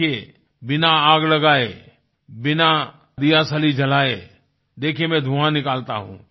देखिये बिना आग लगाए बिना दीयासली जलाए देखिये मैं धुंआ निकालता हूँ